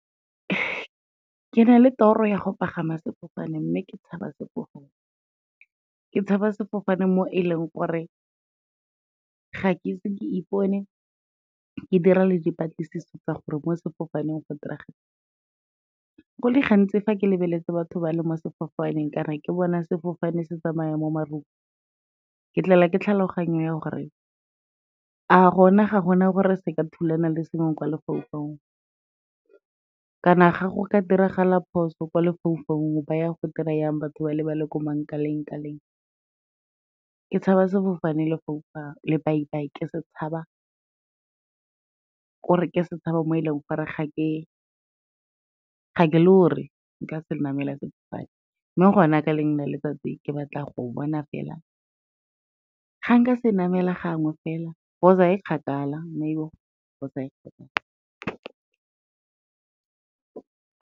Ke na le toro ya go pagama sefofane, mme ke tshaba sefofane, ke tshaba sefofane mo e leng gore ga ke ise ke ipone ke dira le dipatlisiso tsa gore mo sefofaneng go diragala eng. Go le gantsi fa ke lebeletse batho ba le mo sefofaneng kana ke bona sefofane se tsamaya mo marung, ke tlelwa ke tlhaloganyo ya gore a gona ga gona gore se ka thulana le sengwe kwa lefaufaung, kana ga go ka diragala phoso kwa lefaufaung ba ya go dira jang batho ba le bale ko mangkaleng kaleng. Ke tshaba sefofane lobaibai, ke se tshaba, kore ke setšhaba mo e leng gore ga ke lore gore nka se namela sefofane, mme gona ka lengwe la letsatsi ke batla go bona fela ga nka se namela gangwe fela, cause ga e kgakala cause ga e kgakala.